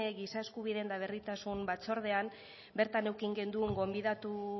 giza eskubideen eta berdintasun batzordean bertan eduki genuen gonbidatu